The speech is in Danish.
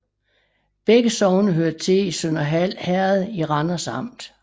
Begge sogne hørte til Sønderhald Herred i Randers Amt